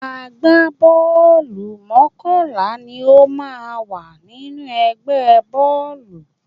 Àgbábọ́ọ̀lù mọ́kànlá ni ó máa ń wà nínú ẹgbẹ́ bọ́ọ̀lù